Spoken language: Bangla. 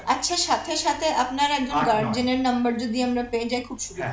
আচ্ছা সাথে সাথে আপনার একজন Guardian এর number যদি আমরা পেয়ে যাই খুব সুবিধা হয়